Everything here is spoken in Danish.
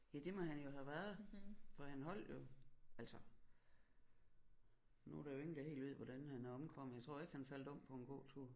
Ja det må han jo have været for han holdt jo altså nu er der jo ingen der helt ved hvordan han er omkommet jeg tror ikke han faldt om på en gåtur